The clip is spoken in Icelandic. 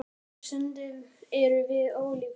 Sögurnar hér á Ströndum eru með ólíkindum.